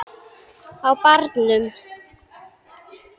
Á barnum!